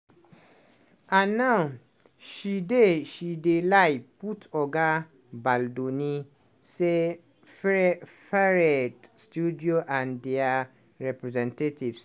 and now she dey she dey lie put oga baldoni say frafarer studio and dia representatives.